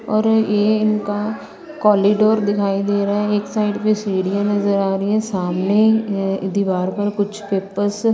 और ये इनका कोलिडोर दिखाई दे रहा है। एक साइड पे सीढ़ियां नजर आ रही हैं सामने दीवार पर कुछ पेपर्स --